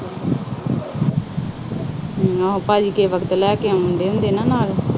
ਕਈ ਵਾਰ ਤਾਂ ਭਾਂਜੀ ਲੈ ਕੇ ਆਉਂਦੇ ਆ ਕਈ ਵਾਰ।